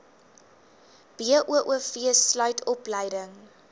boov sluit opleiding